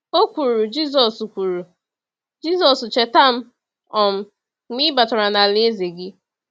O kwuru, “Jisọs, kwuru, “Jisọs, cheta m um mgbe ị batara n’alaeze gị.”